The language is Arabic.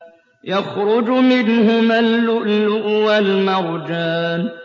يَخْرُجُ مِنْهُمَا اللُّؤْلُؤُ وَالْمَرْجَانُ